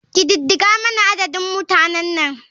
Ƙididdigar mana adadin mutanan nan.